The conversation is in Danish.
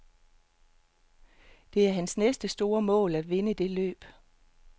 Det er hans næste store mål at vinde det løb.